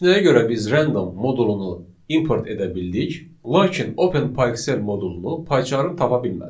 Bəs nəyə görə biz random modulunu import edə bildik, lakin Open PyExcel modulunu PyCharm tapa bilmədi?